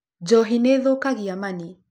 Njohi nĩ ĩthũkagia mani.